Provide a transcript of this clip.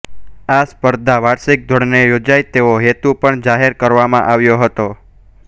આ સ્પર્ધા વાર્ષિક ધોરણે યોજાય તેવો હેતુ પણ જાહેર કરવામાં આવ્યો હતો